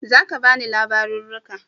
Za ka bani labariu?